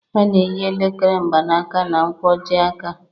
A na-eyi elekere mgbanaka na-nkwojiaka.